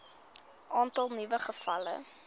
aantal nuwe gevalle